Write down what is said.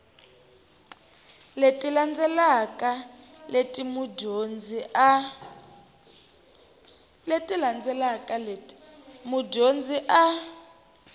leti landzelaka leti mudyondzi a